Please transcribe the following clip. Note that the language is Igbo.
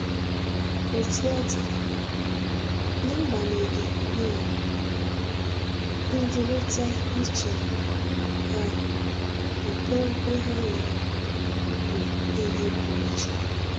Otú ọ dị, n’agbanyeghị um ndịrịta iche ha, nkwenkwe ha nwere bụ ihe pụrụ iche.